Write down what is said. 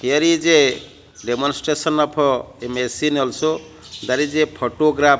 there is a demonstration of a machine also there is a photograph.